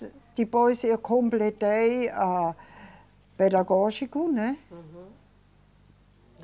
Depois eu completei a pedagógico, né? Uhum.